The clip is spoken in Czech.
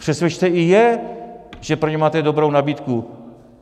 Přesvědčte i je, že pro ně máte dobrou nabídku.